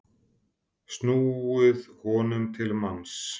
snúið honum til manns.